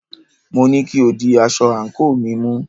Mo ní kí o di aṣọ àńkò mi mú!